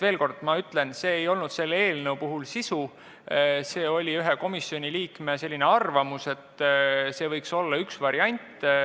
Veel kord: see ei olnud selle eelnõu sisu, see oli ühe komisjoni liikme arvamus, et see võiks olla üks variant.